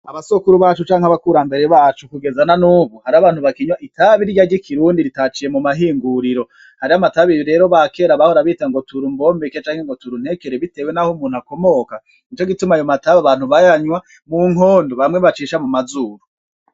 Abasokuru bacu canke abakurambere bacu kugeza na nubu hariho abantu bakinywa itabi rirya ry'ikirundi ritaciye mumahinguriro, hariho amatabi rero abakera bahora bita tura umbombeke canke ngo tura untekere bitewe naho umuntu akomoka nico gituma ayo matabi abantu bayanywa mukondo bamwe bacisha mumazuru.